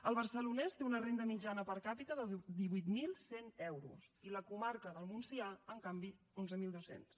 el barcelonès té una renda mitjana per capita de divuit mil cent euros i la comarca del montsià en canvi onze mil dos cents